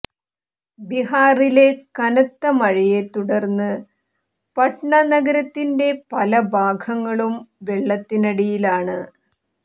ബിഹാറില് കനത്ത മഴയെ തുടര്ന്ന് പട്ന നഗരത്തിന്റെ പല ഭാഗങ്ങളും വെള്ളത്തിനടിയിലാണ്